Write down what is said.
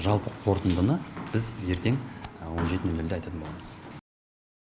жалпы қорытындыны біз ертең он жеті нөл нөлде айтатын боламыз